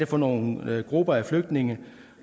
for nogle grupper af flygtninge